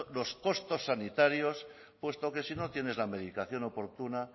los costos sanitarios puesto que si no tienes la medicación oportuna